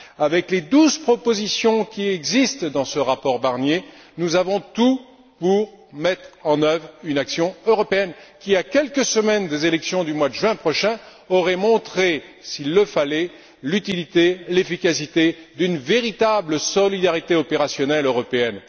Avec les douze propositions contenues dans ce rapport Barnier, nous avions tout pour mettre en œuvre une action européenne qui, à quelques semaines des élections du mois de juin prochain, aurait montré, s'il le fallait, l'utilité et l'efficacité d'une véritable solidarité opérationnelle européenne.